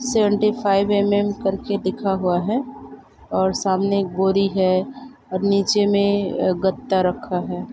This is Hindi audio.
सेवेंटी फाइव एम एम कर के दिखा हुआ है और सामने एक बोरी है और निचे में गत्ता रखा है।